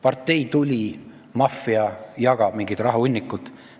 Partei tuli, maffia jagab mingit rahahunnikut!